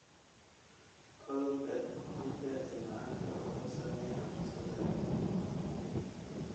Cudurka jirka ee macanka wuxuu saameeyaa habdhiska dareenka.